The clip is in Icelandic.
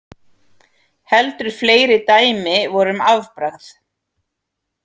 Heldur fleiri dæmi voru um afbragð.